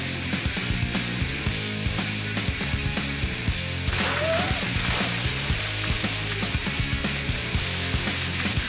við